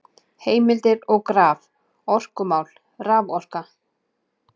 Heimildir og graf: Orkumál- Raforka.